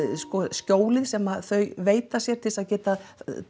skjólin sem þau veita sér til að geta